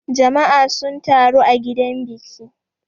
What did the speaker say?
Jama'a sun taru a gidan biki.